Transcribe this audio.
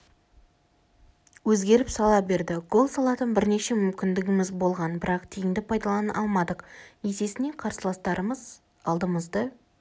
өзгеріп сала берді гол салатын бірнеше мүмкіндігіміз болған бірақ тиімді пайдалана алмадық есесіне қарсыластарымыз алдымызды